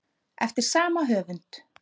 eftir sama höfund